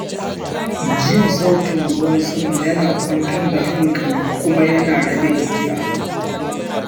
Jin sautin ruwan sama yana kwantar da hankali kuma yana rage gajiya.